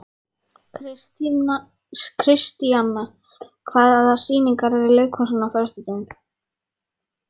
Kristíanna, hvaða sýningar eru í leikhúsinu á föstudaginn?